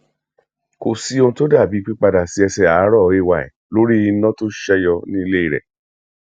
kò sí ohun tó dàbìí pípadà sí ẹsẹ àárò ay lórí iná tó ṣèyọ ní ilé rẹ